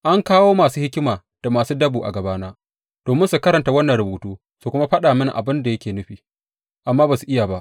An kawo masu hikima da masu dabo a gabana domin su karanta wannan rubutu su kuma faɗa mini abin da yake nufi, amma ba su iya ba.